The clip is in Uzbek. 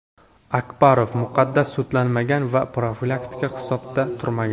Akbarov muqaddam sudlanmagan va profilaktik hisobda turmagan.